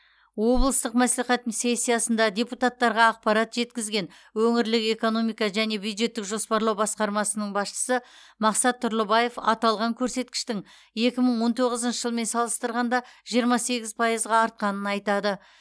облыстық мәслихат сессиясында депутаттарға ақпарат жеткізген өңірлік экономика және бюджеттік жоспарлау басқармасының басшысы мақсат тұрлыбаев аталған көрсеткіштің екі мың он тоғызыншы жылмен салыстырғанда жиырма сегіз пайызға артқанын атады